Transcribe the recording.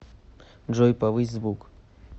джой повысь звук